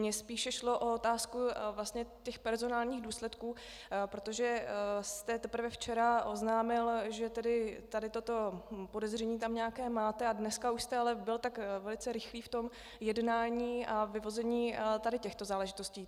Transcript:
Mně spíše šlo o otázku vlastně těch personálních důsledků, protože jste teprve včera oznámil, že tady toto podezření tam nějaké máte, a dneska už jste ale byl tak velice rychlý v tom jednání a vyvození tady těchto záležitostí.